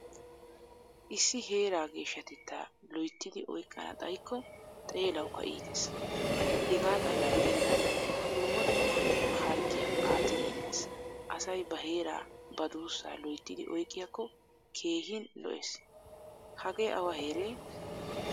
Issi heeraa geeshshatetta loyttidi oyqqana xayiko xeelawukka iitees. Hegaa xalla giddenan dumma dumma harggiyaa attidi immees. Asay ba heeraa ba dussa loyttidi oyqqiyakko keehin lo"ees. Hagee awa heeree?